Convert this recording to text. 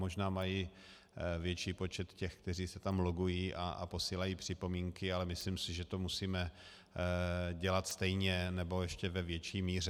Možná mají větší počet těch, kteří se tam logují a posílají připomínky, ale myslím si, že to musíme dělat stejně, nebo ještě ve větší míře.